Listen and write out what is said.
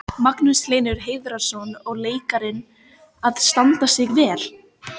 Magnús Hlynur Hreiðarsson: Og leikararnir að standa sig vel?